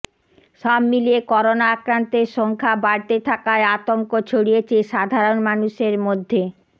সবমিলিয়ে করোনা আক্রান্তের সংখ্যা বাড়তে থাকায় আতংক ছড়িয়েছে সাধারন মানুষের মধ্যে